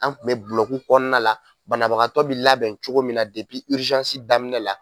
An kun bɛ bulɔki kɔnɔna la , banabagatɔ bɛ labɛn cogo min na daminɛ la.